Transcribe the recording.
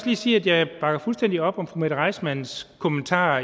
lige sige at jeg bakker fuldstændig op om fru mette reissmanns kommentar